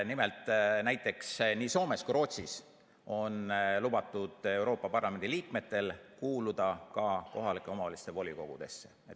Nimelt, näiteks nii Soomes kui ka Rootsis on lubatud Euroopa Parlamendi liikmetel kuuluda kohalike omavalitsuste volikogudesse.